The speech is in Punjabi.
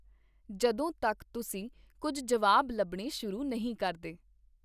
ਜਦੋਂ ਤੱਕ ਤੁਸੀਂ ਕੁੱਝ ਜਵਾਬ ਲੱਭਣੇ ਸ਼ੁਰੂ ਨਹੀਂ ਕਰਦੇ ।